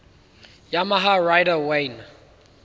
yamaha rider wayne